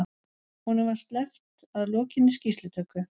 Honum var sleppt að lokinni skýrslutöku